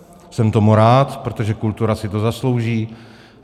Jsem tomu rád, protože kultura si to zaslouží.